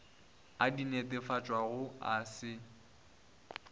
a di netefatšago a se